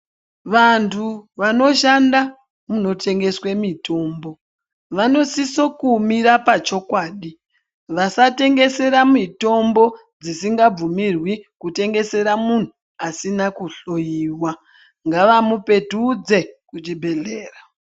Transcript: Vantu vanoshanda munotengeswe mitombo vanosiso kumira pachokwadi vasatengesera mitombo dzisingabvumirwi kutengesera munhu asina kuhloyiwa ngavamupetudze kuchibhedlera